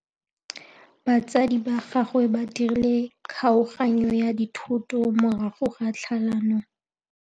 Batsadi ba gagwe ba dirile kgaoganyô ya dithoto morago ga tlhalanô.